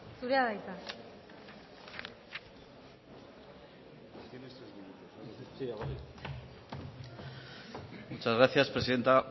zurea da hitza muchas gracias presidenta